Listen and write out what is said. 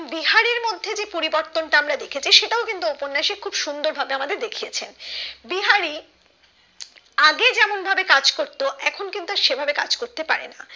বিহারীর মধ্যে যে পরিবর্তনটা আমরা দেখেছি সেটাও কিন্তু উপন্যাসে খুব সুন্দর ভাবে আমাদের দেখিয়েছে বিহারি আগে যেমন ভাবে কাজ করতো এখন কিন্তু আর সেভাবে কাজ করতে পারেনা